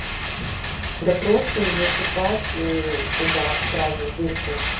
да просто засыпать туда сразу в дырку